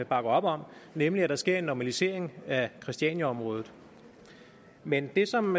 bakker op om nemlig at der sker en normalisering af christianiaområdet men det som